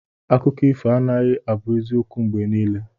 Akụkọ ifo anaghị abụ eziokwu mgbe niile.